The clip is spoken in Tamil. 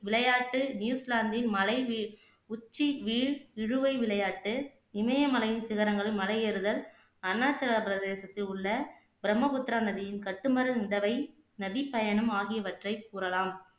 விளையாட்டு நியூசிலாந்தின் மலை வீ உச்சி வீல் இழுவை விளையாட்டு, இமயமலையின் சிகரங்களில் மலையேறுதல் அருணாச்சல பிரதேசத்தில் உள்ள பிரம்மபுத்திரா நதியின்கட்டுமர நிலவை, நதிப்பயணம் ஆகியவற்றை கூறலாம்